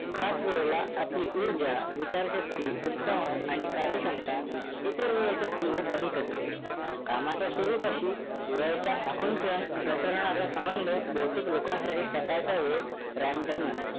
खास वेळे ला आपली उर्जा विचारशक्ती उत्साह आणि कार्यक्षमता इतर वेळेच्या तुलनेत अधिक असते. कामाच्या स्वरुपाशी वेळेच्या आकुंचन प्रसारणाचा संबंध बहुतेक लोकांसाठी सकाळचा वेळ prime time असतो.